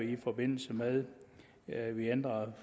i forbindelse med at vi ændrede